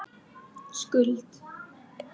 Skuld